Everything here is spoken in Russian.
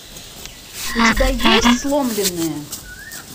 у тебя есть сломленные